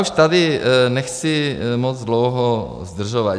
Už tady nechci moc dlouho zdržovat.